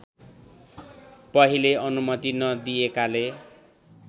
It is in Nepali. पहिले अनुमति नदिएकाले